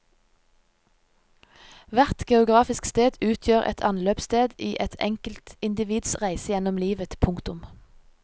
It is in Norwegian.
Hvert geografisk sted utgjør en anløpssted i et enkeltindivids reise gjennom livet. punktum